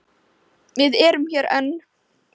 Við erum hér enn.